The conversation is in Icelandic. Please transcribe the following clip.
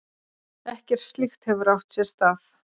Ekkert slíkt hefur átt sér stað